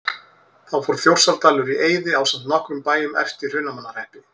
Þá fór Þjórsárdalur í eyði ásamt nokkrum bæjum efst í Hrunamannahreppi.